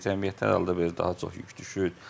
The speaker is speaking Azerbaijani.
Cəmiyyətə hal-hazırda daha çox yük düşür.